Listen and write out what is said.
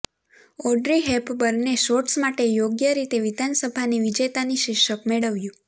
Audrey હેપબર્નએ shorts માટે યોગ્ય રીતે વિધાનસભાની વિજેતાનું શીર્ષક મેળવ્યું